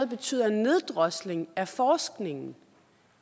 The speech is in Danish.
betyder en neddrosling af forskningen